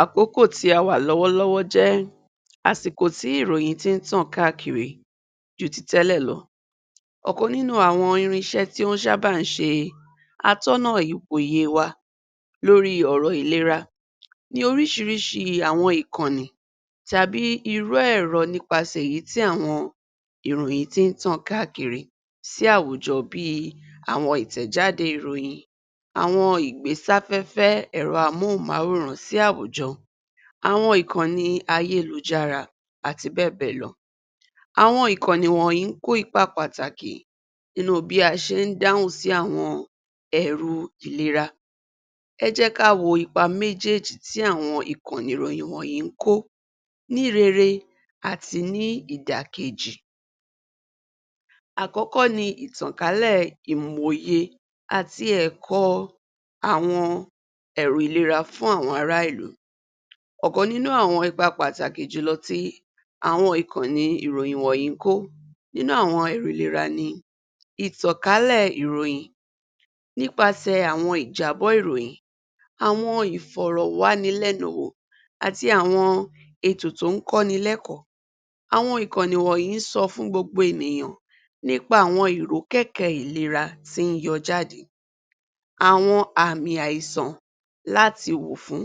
Àkókò tí a wà lọ́wọ́lọ́wọ́ jẹ́ àsìkò tí ìròyìn ti ń tàn káàkiri ju ti tẹ́lẹ̀ lọ. Ọ̀kan nínú àwọn irinṣẹ́ tó ń ṣábà ń ṣe atọ́nà ipò òye e wa lórí ọ̀rọ̀ ìlera ni oríṣiríṣi àwọn ìkọ̀nì tàbí irú ẹ̀rọ nípasẹ̀ èyí tí àwọn ìròyìn ti ń tàn káàkiri sí àwùjọ bíi àwọn ìtẹ̀jáde ìròyìn, àwọn ìgbésáfẹ́fẹ́ ẹ̀rọ amóhùnmáwòrán sí àwùjọ, àwọn ìkọ̀nì ayélujára àti bẹ́ẹ̀bẹ́ẹ̀lọ. Àwọn ìkọ̀nì wọ̀nyí ń kó ipa pàtàkì nínu bí a ṣe ń dáhùn sí àwọn ẹ̀ru ìlera. Ẹ jẹ́ ká wo ipa méjéèjì tí àwọn ìkọ̀nì ìròyìn wọ̀nyí ń kó ní rere àti ní ìdàkejì. Àkọ́kọ́ ni ìtànkálẹ̀ ìmòòye àti ẹ̀kọ́ọ àwọn ẹ̀rọ ìlera fún àwọn ará ìlú. Ọ̀kan nínú àwọn ipa pàtàkì jù lọ tí àwọn ìkọ̀nì ìròyìn wọ̀nyí ń kó nínú àwọn ètò ìlera ni ìtànkálẹ̀ ìròyìn nípasẹ̀ àwọn ìjábọ̀ ìròyìn àwọn ìfọ̀rọ̀wánilẹ́nuwò àti àwọn ètò tó ń kọ́ni lẹ́kọ̀ọ́. Àwọn ìkọ̀nì wọ̀nyí ń sọ fún gbogbo ènìyàn nípa àwọn ìrókẹ̀kẹ̀ ìlera tí ń yọ jáde àwọn àmì àìsàn láti wò fún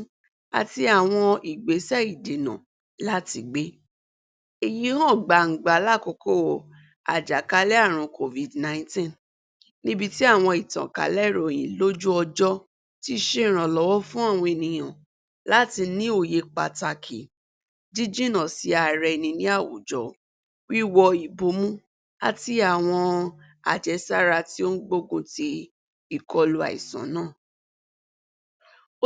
àti àwọn ìgbésẹ̀ ìdènà láti gbé. Èyí hàn gbàǹgbà lákòókò àjàkálẹ̀ àrùn Covid-nineteen níbi tí àwọn ìtànkálẹ̀ ìròyìn lójú ọjọ́ tií ṣe ìrànlọ́wọ́ fún àwọn ènìyàn láti ní òye pàtàkì jíjìnà sí ara ẹni ní àwùjọ, wíwọ ìbomú àti àwọn àjẹsára tí o ń gbógun ti ìkọlu àìsàn náà.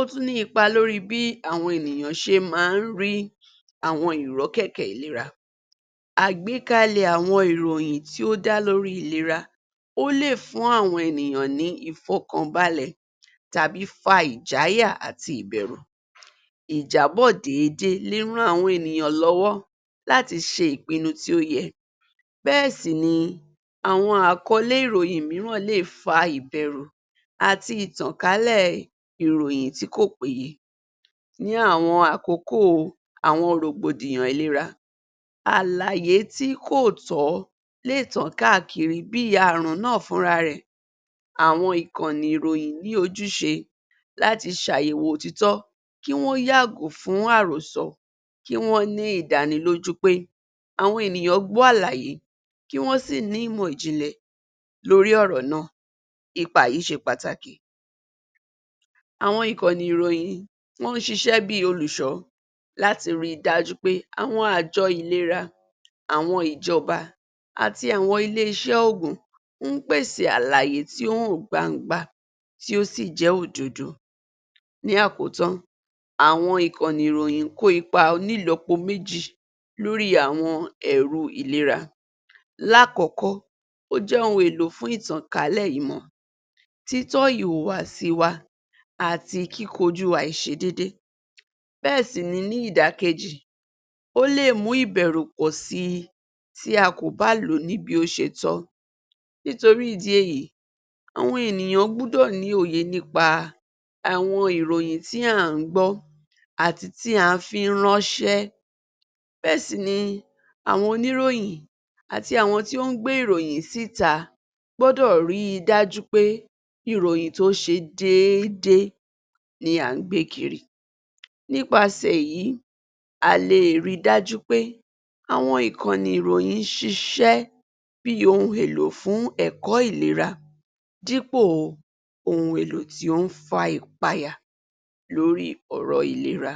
Ó tún ní ipa lórí bí àwọn ènìyàn ṣe máa ń rí àwọn ìrọ́kẹ̀kẹ̀ ìlera. Àgbékalẹ̀ àwọn ìròyìn tí ó dálórí ìlera, ó lè fún àwọn ènìyàn ní ìfọ̀kànbalẹ̀ tàbí fa ìjáyà àti ìbẹ̀rù ìjábọ̀dé ríràn àwọn ènìyàn lọ́wọ́ láti ṣe ìpinu tí ó yẹ. Bẹ́ẹ̀ sì ni àwọn àkọ́lé ìròyìn mìíràn lè fa ìbẹ̀rù àti ìtànkálẹ̀ ìròyìn tí kò péye ní àwọn àkókò àwọn rọ̀gbọ̀dìyàn ìlera. Àlàyé tí kò tọ̀ọ́ léè tàn káàkiri bíi àrun náà fúnra rẹ̀. Àwọn ìkọ̀nì ìròyìn ní ojúṣe láti ṣàyẹ̀wò òtító kí wọ́n yàgò fún àròsọ, kí wọ́n ní ìdánilójú pé àwọn ènìyàn gbọ́ àlàyé kí wọ́n sì ní ìmọ̀ ìjìnlẹ̀ lórí ọ̀rọ̀ náà. Ipa yìí ṣe pàtàkì. Àwọn ìkọ̀nì ìròyìn wọ́n ń ṣiṣẹ́ bíi olùṣọ́ láti ri dájú pé àwọn àjọ ìlera àwọn ìjọba àti àwọn ilé-iṣẹ́ òògùn ń pèsè àlàyé tí ó hàn gbangba tí ó sì jẹ́ òdodo. Ní àkótán àwọn ìkọ̀nì ìròyìn ń kò ipa onílọpo méjì lórí àwọn ẹ̀ru ìlera láàkọ́kọ́ ó jẹ́ ohun èlò fún ìtànkálẹ̀ ìmọ̀, títọ̀ ìhùwàsí wa àti kíkojú àìṣedédé bẹ́ẹ̀ sì ni ní ìdàkejì, ó lè mú ìbẹ̀rù pọ̀ si tí a kò bá lòó ní bí ó ṣe tọ́ nítorí ìdí èyí àwọn ènìyàn gbúdọ̀ ní òye nípa àwọn ìròyìn tí à ń gbọ́ àti tí a fi ń ránṣe bẹ́ẹ̀ sì ni àwọn oníròyìn àti àwọn tí ó ń gbé ìròyìn síta gbọ́dọ̀ ríi dájú pè ìròyìn tí ó ṣe déédé ni à ń gbé kiri. Nípasẹ̀ èyí a leè rí dájú pé àwọn ìkọ̀nì ìròyìn ṣíṣe bí ohun èlò fún ẹ̀kọ́ ìlera dípò ohun èlò tí ó ń fa ìpayà lórí ọ̀rọ̀ ìlera.